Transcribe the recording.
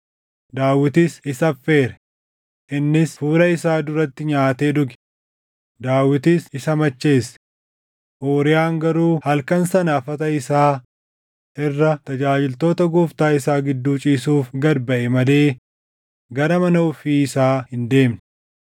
Daawitis isa affeere; innis fuula isaa duratti nyaatee dhuge; Daawitis isa macheesse. Uuriyaan garuu halkan sana afata isaa irra tajaajiltoota gooftaa isaa gidduu ciisuuf gad baʼe malee gara mana ofii isaa hin deemne.